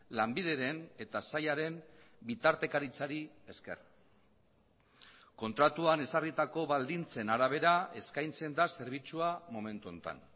lanbideren eta sailaren bitartekaritzari esker kontratuan ezarritako baldintzen arabera eskaintzen da zerbitzua momentu honetan